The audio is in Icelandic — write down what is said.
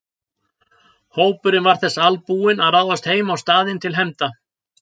Hópurinn var þess albúinn að ráðast heim á staðinn til hefnda.